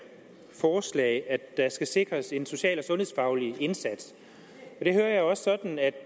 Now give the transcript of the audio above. forslag at der skal sikres en social og sundhedsfaglig indsats og det hører jeg sådan at